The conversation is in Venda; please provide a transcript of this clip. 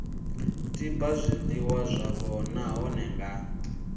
tiba zwiliwa zwavho nahone vha